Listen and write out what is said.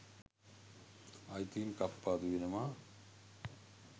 අයිතීන් කප්පාදු වෙනවා